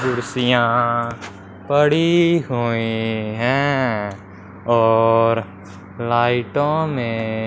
कुर्सियां पड़ी हुई हैं और लाइटों में--